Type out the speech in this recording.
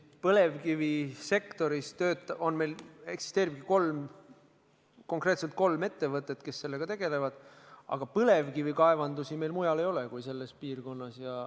Põlevkivisektoris eksisteerib meil kolm konkreetset ettevõtet, kes sellega tegelevad, aga põlevkivikaevandusi meil mujal ei ole kui selles piirkonnas.